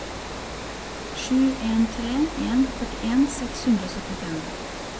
sju en tre en førtien seks hundre og syttifem